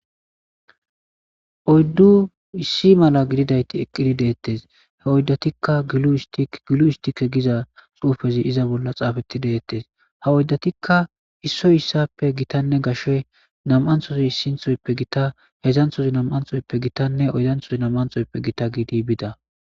Oyddu issi mala gididayti eqqidi deettes he oyddatikka gilu histike giza xuufezi iza bolla xaafetti deettes ha oyddatikka issoy issappe gitanne gashshe nam7anthozi issinthoyppe gita hedzanthozi nam7anthoyppe gitanne oydanthozi nam7anthoyppe gita giidi bida.